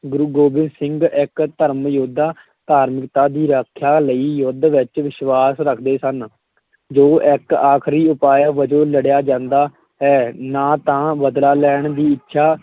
ਗੁਰੂ ਗੋਬਿੰਦ ਸਿੰਘ ਇੱਕ ਧਰਮ ਯੋਧਾ ਧਾਰਮਿਕਤਾ ਦੀ ਰੱਖਿਆ ਲਈ ਯੁੱਧ ਵਿੱਚ ਵਿਸ਼ਵਾਸ ਰੱਖਦੇ ਸਨ ਜੋ ਇੱਕ ਆਖਰੀ ਉਪਾਅ ਵਜੋਂ ਲੜਿਆ ਜਾਂਦਾ ਹੈ, ਨਾ ਤਾਂ ਬਦਲਾ ਲੈਣ ਦੀ ਇੱਛਾ,